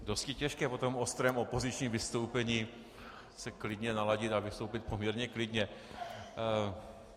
Dosti těžké po tom ostrém opozičním vystoupení se klidně naladit a vystoupit poměrně klidně.